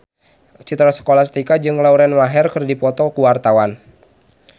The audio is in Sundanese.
Citra Scholastika jeung Lauren Maher keur dipoto ku wartawan